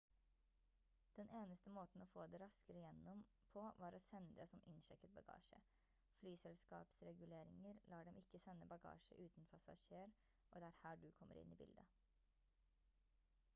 den eneste måten å få det raskere gjennom på var å sende det som innsjekket bagasje flyselskapsreguleringer lar dem ikke sende bagasje uten passasjer og det er her du kommer inn i bildet